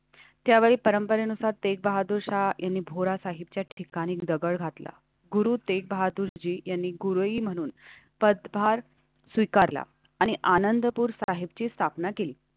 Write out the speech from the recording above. त्यावेळी परंपरेनुसार तेग बहादुर शाहपुरा होलासाहिबच्या ठिकाणी दगड घातला. गुरु तेग बहादुरजी यांनी गुरूही म्हणून पदभार स्वीकारला आणि आनंदपुर साहिबची स्थापना केली.